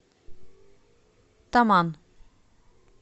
таман